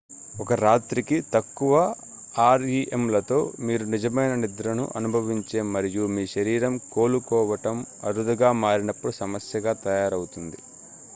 ఒక రాత్రికి తక్కువ ఆర్ఇఎమ్లతో మీరు నిజమైన నిద్రను అనుభవించే మరియు మీ శరీరం కోలుకోవటం అరుదుగా మారినప్పుడు సమస్యగా తయారవుతుంది